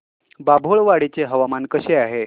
बाभुळवाडी चे हवामान कसे आहे